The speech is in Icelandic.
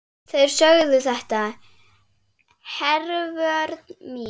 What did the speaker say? Þeir sögðu þetta, Hervör mín.